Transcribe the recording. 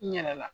N yɛlɛla